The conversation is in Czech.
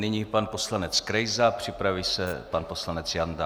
Nyní pan poslanec Krejza, připraví se pan poslanec Janda.